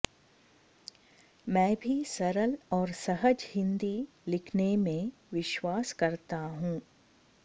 मैं भी सरल और सहज हिन्दी लिखने में विश्वास करता हॅू